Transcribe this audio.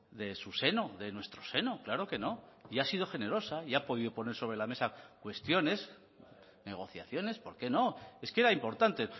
de su seno de nuestro seno claro que no y ha sido generosa y ha podido poner sobre la mesa cuestiones negociaciones por qué no es que era importante